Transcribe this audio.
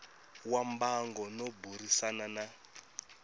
wa mbango no burisana na